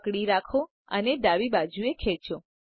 પકડો રાખો અને ડાબી બાજુએ ખેચો